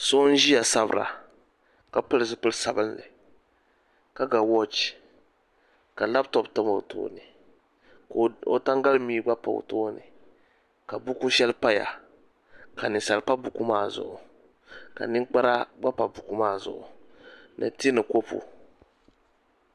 So n ziya sabira ka pili zipili sabinli ka ga wɔɔch ka laptɔp tam o tooni ka o tangali mii gba pa o tooni ka buku shɛli paya ka nimsali pa buku maa zuɣu ka ninkpara gba pa buku maa zuɣu ni tee ni kopu.